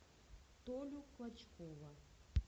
толю клочкова